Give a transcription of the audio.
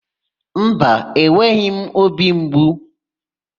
Mba, enweghị m óbì mgbu.